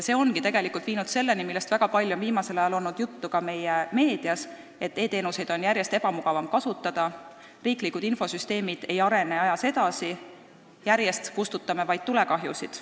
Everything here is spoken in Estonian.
See ongi tegelikult põhjustanud selle, millest väga palju on viimasel ajal olnud juttu ka meie meedias, et e-teenuseid on järjest ebamugavam kasutada ning riiklikud infosüsteemid ei arene ajas edasi, me kustutame vaid järjest tulekahjusid.